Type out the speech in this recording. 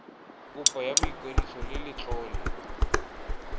kopo ya boikwadiso le letlole